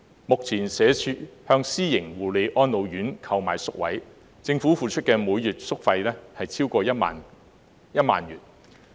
目前社會福利署向私營護理安老院購買宿位，政府付出的每月宿費超過1萬元。